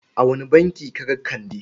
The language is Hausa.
A wane banki ka ga Kande?